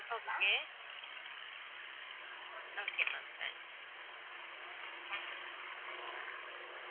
okay okay ma'am thank